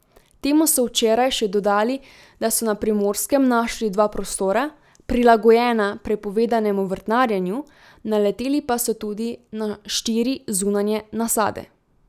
Temu so včeraj še dodali, da so na Primorskem našli dva prostora, prilagojena prepovedanemu vrtnarjenju, naleteli pa so tudi na štiri zunanje nasade.